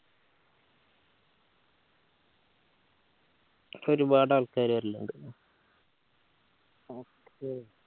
ഒരുപാട് ആൾകാർ വരലിണ്ട് okay